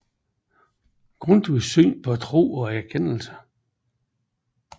Grundtvigs Syn på Tro og Erkendelse